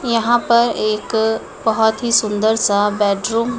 यहां पर एक बहोत ही सुंदर सा बेडरूम --